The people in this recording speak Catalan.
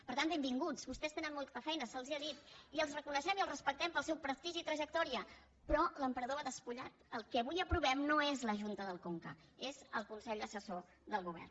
per tant benvinguts vostès tenen molta feina se’ls ha dit i els reconeixem i els respectem pel seu prestigi i trajectòria però l’emperador va despu·llat el que avui aprovem no és la junta del conca és el consell assessor del govern